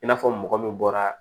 I n'a fɔ mɔgɔ min bɔra